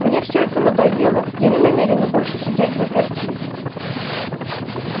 мне всё это надоело я не намерена больше сидеть взаперти